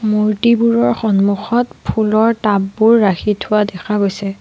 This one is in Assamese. মূৰ্ত্তিবোৰৰ সন্মুখত ফুলৰ টাব বোৰ ৰাখি থোৱা দেখা গৈছে।